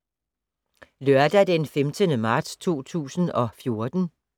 Lørdag d. 15. marts 2014